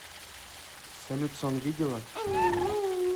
салют сон видела